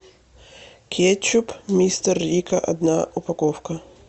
кетчуп мистер рикко одна упаковка